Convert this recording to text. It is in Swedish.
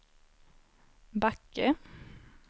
Backe